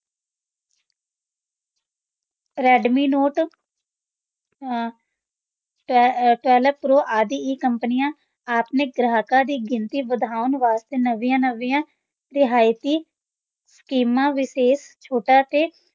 Redmi Note ਅਹ ਅਹ ਅਹ ਆਦਿ ਇਹ ਕੰਪਨੀਆਂ ਆਪਣੇ ਗ੍ਰਾਹਕਾਂ ਦੀ ਗਿਣਤੀ ਵਧਾਉਣ ਵਾਸਤੇ ਨਵੀਆਂ-ਨਵੀਆਂ ਰਿਆਇਤੀ ਸਕੀਮਾਂ, ਵਿਸ਼ੇਸ਼ ਛੋਟਾਂ ਤੇ